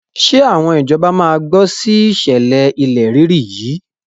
Ṣé àwọn ìjọba máa gbọ́ sí ìṣẹ̀lẹ̀ ilẹ̀ rírì yìí?